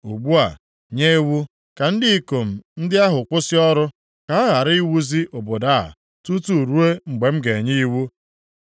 Ugbu a, nye iwu ka ndị ikom ndị ahụ kwụsị ọrụ, ka a ghara iwuzi obodo a tutu ruo mgbe m ga-enye iwu.